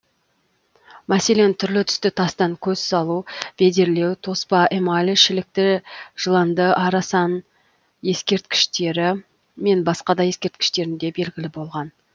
мәселен түрлі түсті тастан көз салу бедерлеу тоспа эмаль шілікті жыланды арасан ескерткіштері мен басқа да ескерткіштерінде белгілі болган